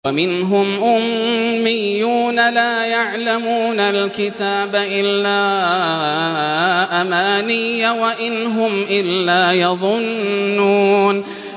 وَمِنْهُمْ أُمِّيُّونَ لَا يَعْلَمُونَ الْكِتَابَ إِلَّا أَمَانِيَّ وَإِنْ هُمْ إِلَّا يَظُنُّونَ